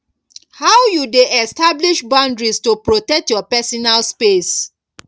how you dey establish boundaries to protect your personal space